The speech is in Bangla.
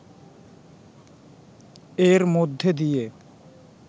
এর মধ্যে দিয়ে